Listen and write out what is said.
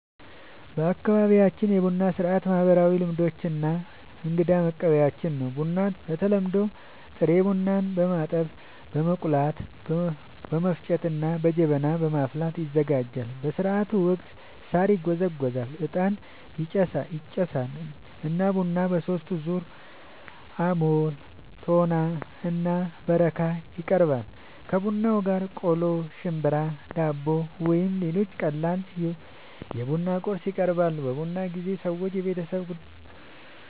በአካባቢያችን የቡና ሥርዓት ማህበራዊ ልምዶች እና እንግዳን መቀበያችን ነው። ቡናው በተለምዶ ጥሬ ቡናን በማጠብ፣ በመቆላት፣ በመፍጨት እና በጀበና በማፍላት ይዘጋጃል። በሥርዓቱ ወቅት ሣር ይጎዘጎዛል፣ ዕጣን ይጨሳል እና ቡናው በሦስት ዙር (አቦል፣ ቶና እና በረካ) ይቀርባል። ከቡናው ጋር ቆሎ፣ ሽምብራ፣ ዳቦ ወይም ሌሎች ቀላል የቡና ቁርስ ይቀርባል። በቡና ጊዜ ሰዎች የቤተሰብ